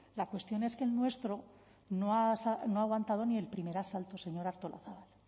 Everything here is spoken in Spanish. la cuestión es que el nuestro no ha aguantado ni el primer asalto señora artolazabal